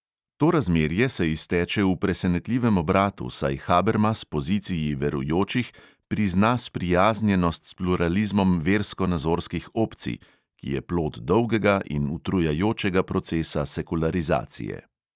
To razmerje se izteče v presenetljivem obratu, saj habermas poziciji verujočih prizna sprijaznjenost s pluralizmom verskonazorskih opcij, ki je plod dolgega in utrjujočega procesa sekularizacije.